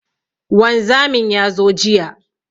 Wanzamin ya zo jiya.